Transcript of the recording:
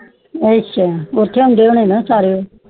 ਅੱਛਾ ਉਦ੍ਹੇ ਹੋਂਦੇ ਨਾ ਸਾਰੇ